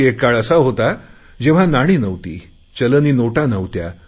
एक काळ असा होता जेव्हा नाणी नव्हती चलनी नोटा नव्हत्या